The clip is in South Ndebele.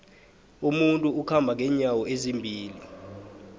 umuntu ukhamba nqenyawo ezimbili